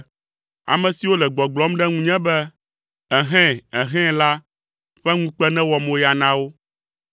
Ame siwo le gbɔgblɔm ɖe ŋunye be, “Ehɛ̃! Ehɛ̃!” la ƒe ŋukpe newɔ moya na wo.